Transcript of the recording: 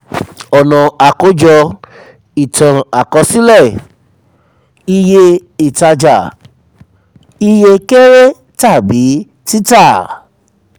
ọ̀nà àkójọ itan àkọsílẹ̀ iye ìtajà iye kéré tàbí tita.